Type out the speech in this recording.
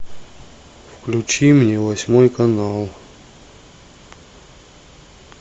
включи мне восьмой канал